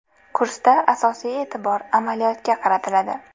Kursda asosiy e’tibor amaliyotga qaratiladi.